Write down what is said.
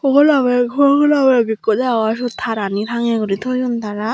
obolindi pogona bag ekko degongor seyot tarani tangye guri toyon tara.